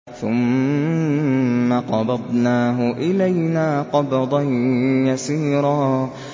ثُمَّ قَبَضْنَاهُ إِلَيْنَا قَبْضًا يَسِيرًا